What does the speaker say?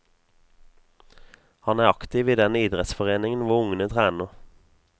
Han er aktiv i den idrettsforeningen hvor ungene trener.